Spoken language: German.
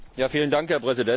Herr Präsident!